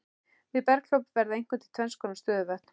Við berghlaup verða einkum til tvennskonar stöðuvötn.